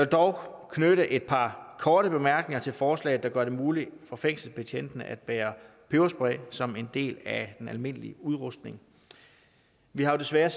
dog knytte et par korte bemærkninger til forslaget der gør det muligt for fængselsbetjentene at bære peberspray som en del af den almindelige udrustning vi har jo desværre